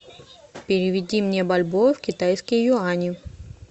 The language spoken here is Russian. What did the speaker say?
переведи мне бальбоа в китайские юани